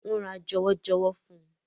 Wọ́n ra jọwọ́jọwọ́ fún un.